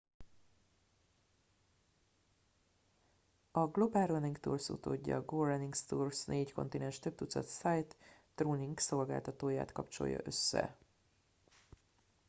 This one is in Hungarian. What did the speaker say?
a global running tours utódja a go running tours négy kontinens több tucat sightrunning szolgáltatóját kapcsolja össze